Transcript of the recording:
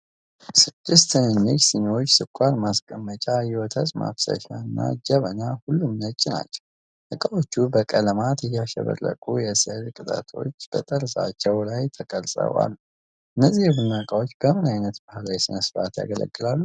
ስድስት ትንንሽ ሲኒዎች፣ ስኳር ማስቀመጫ፣ የወተት ማፍሰሻ እና ጀበና፣ ሁሉም ነጭ ናቸው። እቃዎቹ በቀለማት ያሸበረቁ የሥዕል ቅጦች በጠርዛቸው ላይ ተቀርጸው አሉ። እነዚህ የቡና እቃዎች በምን ዓይነት ባህላዊ ሥነ-ሥርዓት ያገለግላሉ?